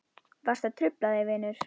Varstu að hrufla þig vinur?